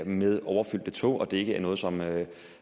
med overfyldte tog og at det ikke er noget som noget